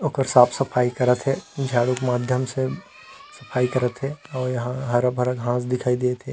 ओकर साफ सफाई करत हे झाड़ू के माध्यम से सफाई करत हे और यहाँ हरा भरा घास दिखाई देत है।